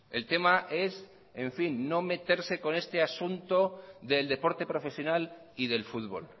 el tema es en fin no meterse con este asunto del deporte profesional y del fútbol